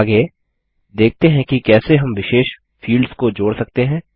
आगे देखते हैं कि कैसे हम विशेष फील्ड्स को जोड़ सकते हैं